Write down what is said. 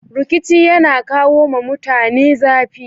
Rikici yana kawo ma mutane zafi.